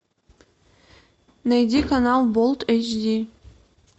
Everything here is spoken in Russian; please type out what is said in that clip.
найди канал болт эйч ди